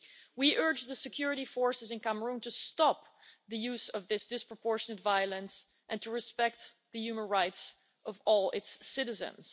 We urge the security forces in Cameroon to stop the use of this disproportionate violence and to respect the human rights of all its citizens.